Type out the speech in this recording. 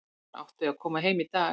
Hún átti að koma heim í dag.